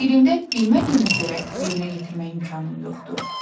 Birində bilmədiyimə görə yerinə yetirmək imkanım yoxdur.